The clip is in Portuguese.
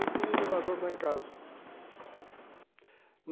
E tem o elevador lá em casa.